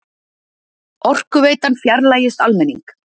Orkuveitan fjarlægist almenning